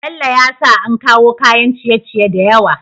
Bello ya sa an kawo kayan ciye ciye da yawa